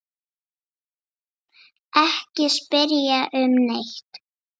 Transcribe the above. Ekki spyrja um neitt.